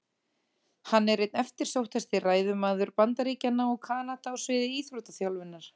Hann er einn eftirsóttasti ræðumaður Bandaríkjanna og Kanada á sviði íþróttaþjálfunar.